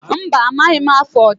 Mba, amaghị m afụ ọja.